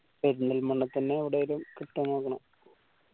പെരിന്തൽമണ്ണ തന്നെ എവിടേലും കിട്ടോ നോക്കണം